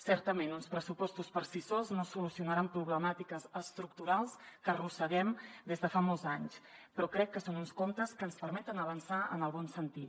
certament uns pressupostos per si sols no solucionaran problemàtiques estructurals que arrosseguem des de fa molts anys però crec que són uns comptes que ens permeten avançar en el bon sentit